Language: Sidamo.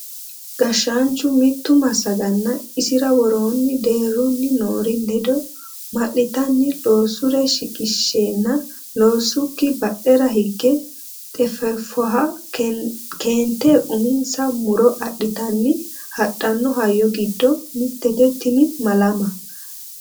Gashshaanchu mitu massaganna isira worooni deerunni noori ledo ma'littanni loosure shiqqishenna loosikki badhera hige xefefoha keente uminsa muro adhittanni hadhano hayyo giddo mitete tini malama.